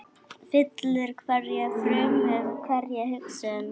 Fyllir hverja frumu, hverja hugsun.